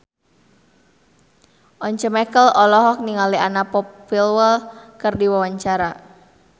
Once Mekel olohok ningali Anna Popplewell keur diwawancara